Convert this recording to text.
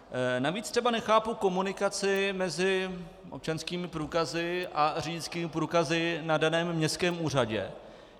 Navíc třeba nechápu komunikaci mezi občanskými průkazy a řidičskými průkazy na daném městském úřadě.